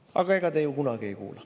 Aga ega te ju kunagi ei kuula.